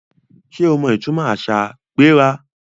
Sé o mọ ìtúmọ àṣà ‘gbéra’?